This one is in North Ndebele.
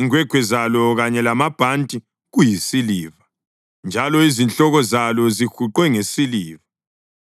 Ingwegwe zalo kanye lamabhanti kuyisiliva, njalo izihloko zalo zihuqwe ngesiliva.